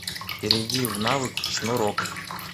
перейди в навык шнурок